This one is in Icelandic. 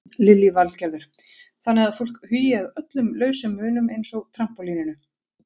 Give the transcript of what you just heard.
Lillý Valgerður: Þannig að fólk hugi að öllum lausum munum eins og trampólíninu?